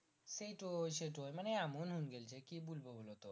সেই সেইটোই সেইটোই মানে এমন হুং গেলছে কি বলবো বোলো তো